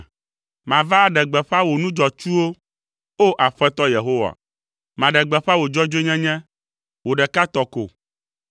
Mava aɖe gbeƒã wò nu dzɔatsuwo, O Aƒetɔ Yehowa. Maɖe gbeƒã wò dzɔdzɔenyenye, wò ɖeka tɔ ko.